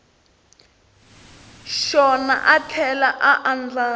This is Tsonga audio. xona a tlhela a andlala